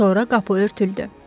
Sonra qapı örtüldü.